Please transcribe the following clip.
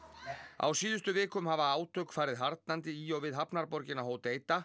á síðustu vikum hafa átök farið harðnandi í og við hafnarborgina